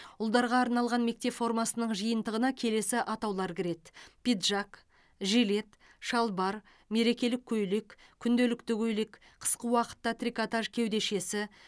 ұлдарға арналған мектеп формасының жиынтығына келесі атаулар кіреді пиджак жилет шалбар мерекелік көйлек күнделікті көйлек қысқы уақытта трикотаж кеудешесі